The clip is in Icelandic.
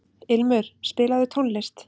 Ilmur, spilaðu tónlist.